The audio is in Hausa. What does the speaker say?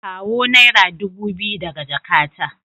Kawo naira dubu biyu daga jakata.